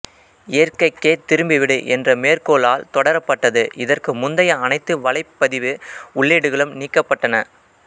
இயற்கைக்கே திரும்பிவிடு என்ற மேற்கோளால் தொடரப்பட்டது இதற்கு முந்தைய அனைத்து வலைப்பதிவு உள்ளீடுகளும் நீக்கப்பட்டன